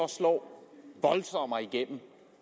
slå voldsommere igennem